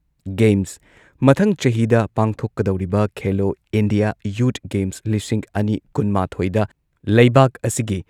games ꯃꯊꯪ ꯆꯍꯤꯗ ꯄꯥꯡꯊꯣꯛꯀꯗꯧꯔꯤꯕ ꯈꯦꯜꯂꯣ ꯏꯟꯗꯤꯌꯥ ꯌꯨꯊ ꯒꯦꯝꯁ ꯂꯤꯁꯤꯡ ꯑꯅꯤ ꯀꯨꯟꯃꯥꯊꯣꯏꯗ ꯂꯩꯕꯥꯛ ꯑꯁꯤꯒꯤ